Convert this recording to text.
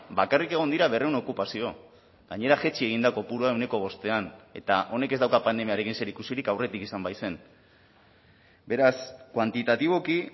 bakarrik egon dira berrehun okupazio gainera jaitsi egin da kopurua ehuneko bostean eta honek ez dauka pandemiarekin zer ikusirik aurretik izan baizen beraz kuantitatiboki